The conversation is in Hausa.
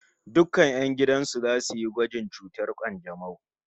Dukkan 'yan gidan su zasu yi gwajin cutar kanjamau